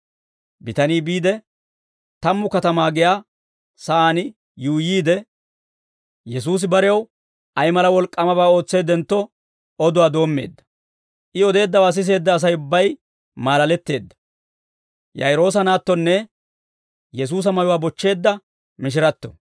Bitanii biide, Tammu Katamaa giyaa saan yuuyyiide, Yesuusi barew ay mala wolk'k'aamabaa ootseeddentto, oduwaa doommeedda; I odeeddawaa siseedda Asay ubbay maalaletteedda.